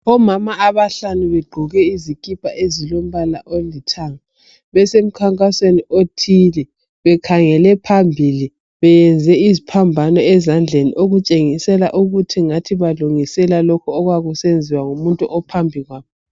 Omama abahlanu begqoke izikipa ezilombala olithanga besemkhankasweni othile bekhangele phambili beyenze iziphambano ezandleni okutshengisela ukuthi ingathi balungisela lokhu okwakusenziwa ngumuntu ophambi kwabo.